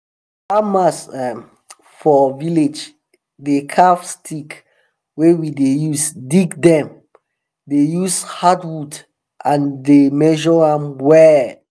farmers um for our village dey carve stick wey we dey use dig dem dey use hard wood and dem dey measure am well.